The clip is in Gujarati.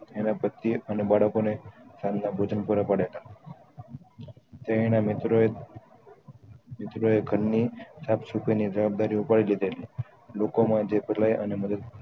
એના પતીએ અને બાળકો ને સાંજ ના ભોજન પુરા પાડેલા તે એના મિત્ર એ મિત્રાઓએ ખનની સાફ સફાઈ જવાબદારી ઉપાડી લીધેલી લોકોમાં જે